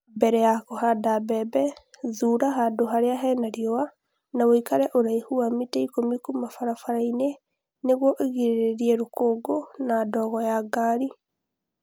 Mbere ya kũhanda mbembe, thuura handũ harĩa hena riũa, na ũikare ũraihu wa mita ikũmi kuuma barabara-inĩ nĩguo ũgirĩrĩrie rũkũngũ na ndogo ya ngari.